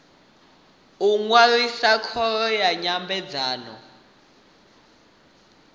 u ṅwalisa khoro ya nyambedzano